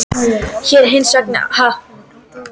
Hér er hins vegar ástæða til að staldra við.